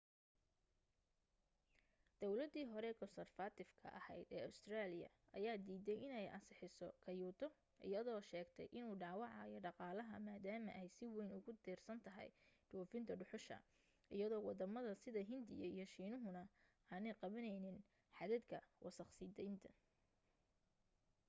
dawladii hore konsarfatifka ahayd ee ustareeliya ayaa diiday inay ansixiso kyoto iyadoo sheegtay inuu dhaawacayo dhaqaalaha maadaama ay si wayn ugu tiirsan tahay dhoofinta dhuxusha iyadoo waddamada sida hindiya iyo shiinuhana aanay qabanayn xadadka wasakh sii daynta